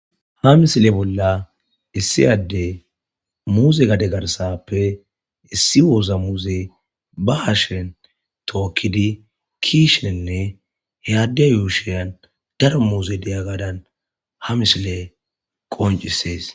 Ha misile bolla issi adde muuzegade garsappe issi woza muuze ba hashen tookkidi kiishenne he adde yuushayan dara muuze deya gadan ha misile qoncisees.